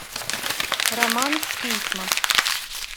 роман в письмах